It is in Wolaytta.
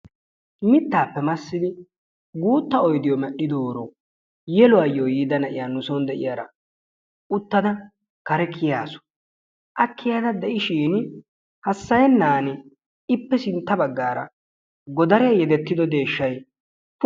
Mittaappe maassidi guutta oydiyoo medhidooro yeluwaayo yiida na'iyaa nu soon de'iyaara uttada kare kiyaasu. A kiyada de'ishiin hasayennani ippe sintta baggaara godaree yedettido deeshshay pu